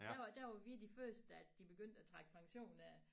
Der var der var vi de første at de begyndte at trække pensionen af